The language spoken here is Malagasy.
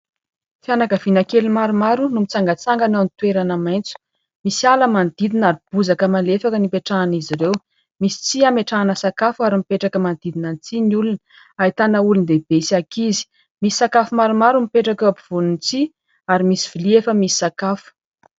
Fianakaviana kely maromaro no mitsangatsangana eo ny toerana maitso, misy ala manodidina ary bozaka malefaka no ipetrahan'izy ireo ; misy tsihy ametrahana sakafo ary mipetraka manodidina ny tsihy ny olona, ahitana olon-dehibe sy ankizy. Misy sakafo maromaro mipetraka eo ampovoan'ny tsihy ary misy vilia efa misy sakafo.